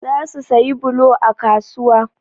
Za su sayi bulo a kasuwa.